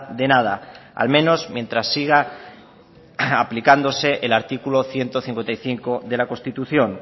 de nada al menos mientras siga aplicándose el artículo ciento cincuenta y cinco de la constitución